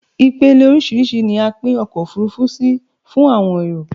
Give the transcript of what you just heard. Ipele orísírìsí ni a pin ọkò òfurufú si fún àwọn èrò